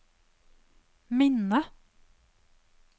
minne